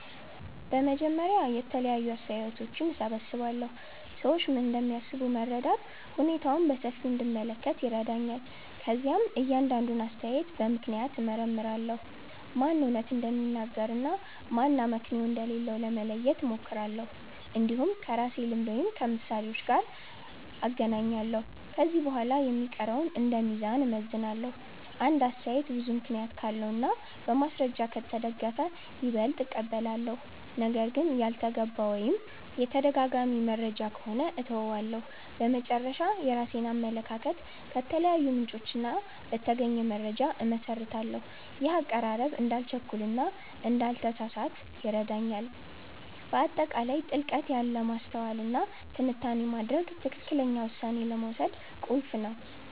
በመጀመሪያ የተለያዩ አስተያየቶችን እሰብስባለሁ። ሰዎች ምን እንደሚያስቡ መረዳት ሁኔታውን በሰፊው እንድመለከት ይረዳኛል። ከዚያም እያንዳንዱን አስተያየት በምክንያት እመርምራለሁ፤ ማን እውነት እንደሚናገር እና ማን አመክንዮ እንደሌለው ለመለየት እሞክራለሁ። እንዲሁም ከራሴ ልምድ ወይም ከምሳሌዎች ጋር እናገናኛለሁ። ከዚህ በኋላ የሚቀረውን እንደ ሚዛን እመዝናለሁ። አንድ አስተያየት ብዙ ምክንያት ካለው እና በማስረጃ ከተደገፈ ይበልጥ እቀበላለሁ። ነገር ግን ያልተገባ ወይም የተደጋጋሚ መረጃ ከሆነ እተወዋለሁ። በመጨረሻ፣ የራሴን አመለካከት ከተለያዩ ምንጮች በተገኘ መረጃ እመሰርታለሁ። ይህ አቀራረብ እንዳልቸኩል እና እንዳልተሳሳት ይረዳኛል። በአጠቃላይ ጥልቀት ያለ ማስተዋል እና ትንታኔ ማድረግ ትክክለኛ ውሳኔ ለመውሰድ ቁልፍ ነው